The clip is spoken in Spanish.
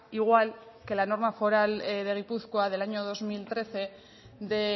igual que la norma foral de gipuzkoa del año dos mil trece de